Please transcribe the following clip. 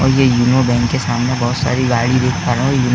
और ये यूनो बैंक के सामने बहोत सारी गाड़ी देख पर रहे --